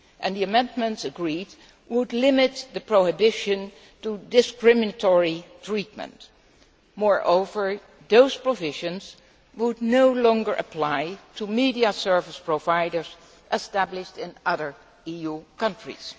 The amendments agreed would limit the prohibition to discriminatory treatment. Moreover those provisions would no longer apply to media service providers established in other EU countries.